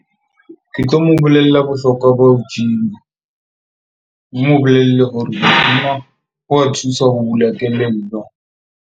Ke tlo mo bolella bohlokwa ba ho gym-a. Ke mo bolelle hore wa thusa ho bula kelello.